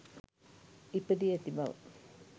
ඉපදී ඇති බව.